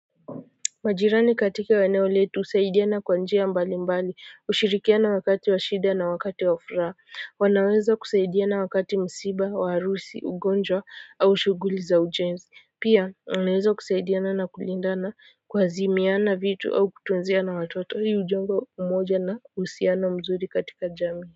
Majirani katika eneo letu husaidia na kwa njia mbali mbali hushirikiana wakati wa shida na wakati wa furaha wanaweza kusaidiana wakati msiba wa harusi ugonjwa au shughuli za ujenzi pia wanaeza kusaidiana na kulindana kuazimiana vitu au kutunziana watoto hii hujenga umoja na uhusiano mzuri katika jamii.